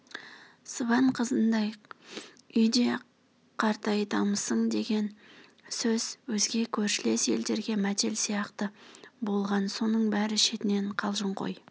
сыбан қызындай үйде қартайтамысың деген сөз өзге көршілес елдерге мәтел сияқты болған соның бәрі шетінен қалжыңқой